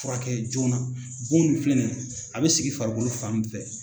Furakɛ joona bon nun filɛ nin ye a bɛ sigi farikolo fan min fɛ